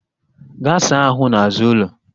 Gaa saa ahụ n'azụ ụlọ!